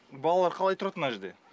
балалар қалай тұрады мына жерде